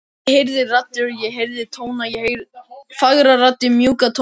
Ég heyrði raddir, ég heyrði tóna, fagrar raddir, mjúka tóna.